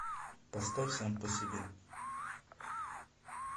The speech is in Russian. поставь сам по себе